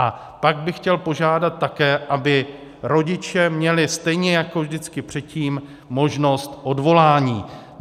A pak bych chtěl požádat také, aby rodiče měli stejně jako vždycky předtím možnost odvolání.